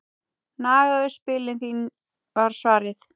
Nagaðu spilin þín var svarið.